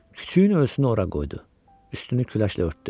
Küçüyün ölüsünü ora qoydu, üstünü küləşlə örtdü.